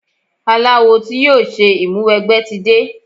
Aláwo tí yóò ṣe ìmúwẹgbẹ́ tí de.